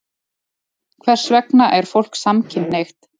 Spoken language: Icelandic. Hvers vegna er fólk samkynhneigt?